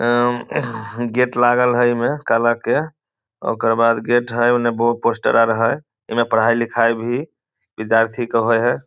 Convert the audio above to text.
एवं गेट लागल हेय इमे काला के ओकर बाद गेट हेय उने बहुत पोस्टर आर हेय इमे पढाई लिखाई भी विद्यार्थी के होय हेय ।